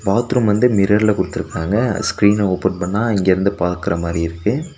Bathroom வந்து மிரர்ல குடுத்திருக்காங்க ஸ்கிரீன ஓபன் பண்ணா இங்கிருந்து பாக்ற மாறி இருக்கு.